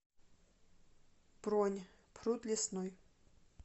бронь пруд лесной